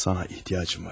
Sana ehtiyacım var.